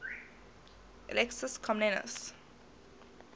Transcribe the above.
alexius comnenus